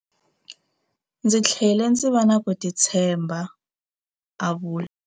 Ndzi tlhele ndzi va na ku titshemba, a vula.